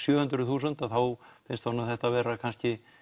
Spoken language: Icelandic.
sjö hundruð þúsund þá finnst honum þetta vera kannski